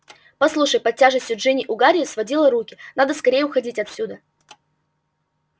послушай под тяжестью джинни у гарри сводило руки надо скорее уходить отсюда